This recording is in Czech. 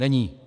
Není.